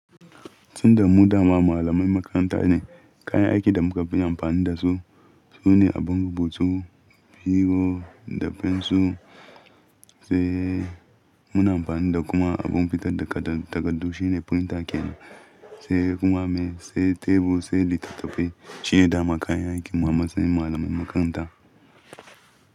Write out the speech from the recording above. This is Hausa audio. Tun da mu dama malamai makaranta ne, kayan aikin da muka fi amfani da su sune abin rubutu, biro da fensir sai muna amfani da kuma abin fitar da takaddu shine printer kenan sai kuma mai, sai tebur, sai littattafai. Shine dama kayan aikin mu a matsayin malamai makaranta.